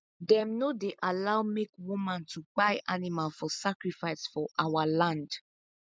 them no dey allow make woman to kpai animal for sacrifice for our land